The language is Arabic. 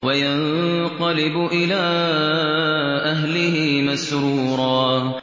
وَيَنقَلِبُ إِلَىٰ أَهْلِهِ مَسْرُورًا